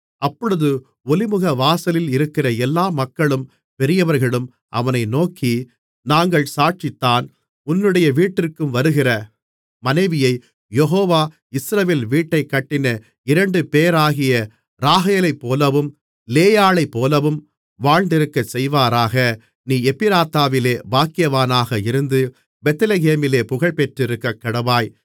அப்பொழுது ஒலிமுகவாசலில் இருக்கிற எல்லா மக்களும் பெரியவர்களும் அவனை நோக்கி நாங்கள் சாட்சிதான் உன்னுடைய வீட்டிற்கு வருகிற மனைவியைக் யெகோவா இஸ்ரவேல் வீட்டைக் கட்டின இரண்டுபேராகிய ராகேலைப்போலவும் லேயாளைப்போலவும் வாழ்ந்திருக்கச் செய்வாராக நீ எப்பிராத்தாவிலே பாக்கியவானாக இருந்து பெத்லெகேமிலே புகழ்பெற்றிருக்கக்கடவாய்